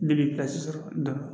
Ne b'i sɔrɔ